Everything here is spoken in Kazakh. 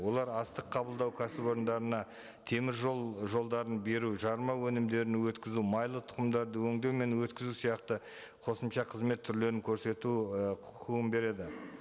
олар астық қабылдау кәсіпорындарына теміржол жолдарын беру жарма өнімдерін өткізу майлы тұқымдарды өндеу мен өткізу сияқты қосымша қызмет түрлерін көрсету і құқығын береді